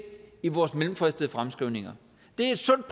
i vores mellemfristede fremskrivninger det er et sundt